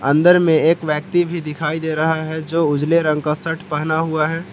अंदर में एक व्यक्ति भी दिखाई दे रहा है जो उजले रंग का शर्ट पहना हुआ है।